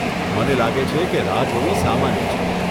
મને લાગે છે કે રાહ જોવી સામાન્ય છે.